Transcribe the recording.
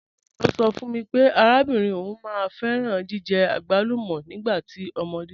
M̀ọyọ̣ sọ̀ fún mí pé àràbìnrin ọún máá n fẹ̀ràn jìjẹ̀ agbàlùmọ̀ nígbà omódé.